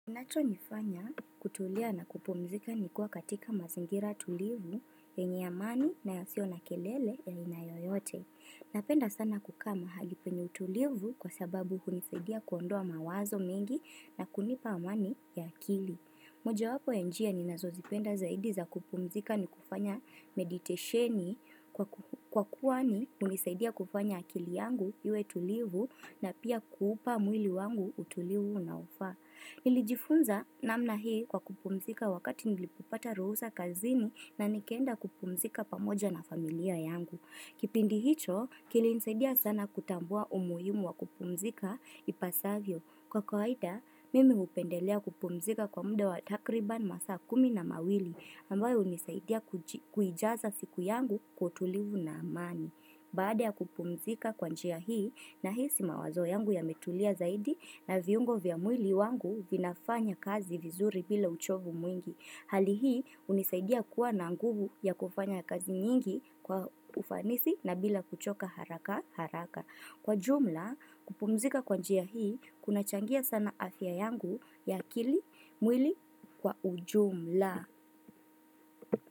Kinacho nifanya kutulia na kupumzika ni kuwa katika mazingira tulivu ya yenye amani na yasio na kelele ya inayoyote. Napenda sana kukaa mahali penye utulivu kwa sababu hunisaidia kuondoa mawazo mingi na kunipa amani ya akili. Moja wapo ya njia ni nazozipenda zaidi za kupumzika ni kufanya meditesheni kwa kuwa ni unisaidia kufanya akili yangu yue tulivu na pia kuupa mwili wangu utulivu na ufaa. Nilijifunza namna hii kwa kupumzika wakati nilipopata ruhusa kazini na nikaenda kupumzika pamoja na familia yangu. Kipindi hicho, kilinisaidia sana kutambua umuhimu wa kupumzika ipasavyo. Kwa kwaida, mimi upendelea kupumzika kwa mde wa takriban masaa kumi na mawili ambayo unisaidia kuijaza siku yangu kutulivu na amani. Baada ya kupumzika kwa njia hii nahisi mawazo yangu yametulia zaidi na viungo vya mwili wangu vinafanya kazi vizuri bila uchovu mwingi. Hali hii unisaidia kuwa na nguvu ya kufanya kazi nyingi kwa ufanisi na bila kuchoka haraka haraka. Kwa jumla kupumzika kwanjia hii kuna changia sana afya yangu ya akili mwili kwa ujumla.